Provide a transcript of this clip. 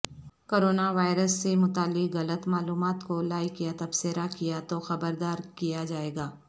corona virus سے متعلق غلط معلومات کو لائیک یا تبصرہ کیاتو خبردار کیا جائےگا